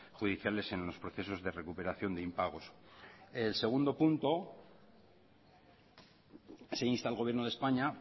judiciales en los procesos de recuperación de impagos el segundo punto se insta al gobierno de españa